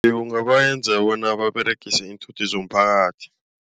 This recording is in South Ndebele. Iye ungabenza bona baberegise iinthuthi zomphakathi.